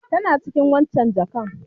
Tana cikin waccen jakar.